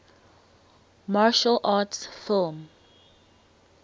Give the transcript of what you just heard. martial arts film